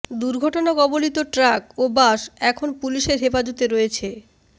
দুর্ঘটনা কবলিত ট্রাক ও বাস এখন পুলিশের হেফাজতে রয়েছে